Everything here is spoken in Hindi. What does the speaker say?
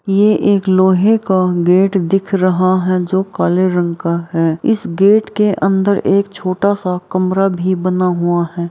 ये एक लोहे का गेट दिख रहा है जो काले रंग का है इस गेट के अंदर एक छोटा-सा कमरा भी बना हुआ है।